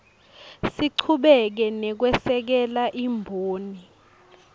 sichubeke nekwesekela imboni